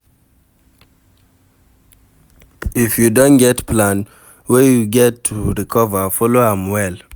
If you don get plan wey you get to recover, follow am well